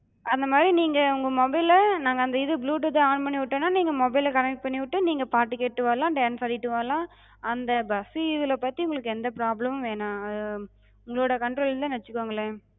அந்தமாரி நீங்க உங்க mobile ல நாங்க அந்த இது bluetooth அஹ் on பண்ணிவிட்டேனா நீங்க mobile ல connect பண்ணிவிட்டு நீங்க பாட்டு கேட்டு வரலா, dance ஆடிட்டு வரலா, அந்த bus இதுல பத்தி உங்களுக்கு எந்த problem உம் வேணா ஆஹ் உங்களோட control னு வச்சுக்கங்களே.